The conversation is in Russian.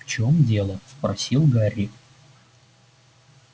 в чём дело спросил гарри